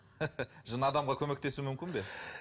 жын адамға көмектесуі мүмкін бе